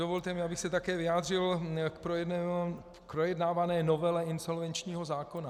Dovolte mi, abych se také vyjádřil k projednávané novele insolvenčního zákona.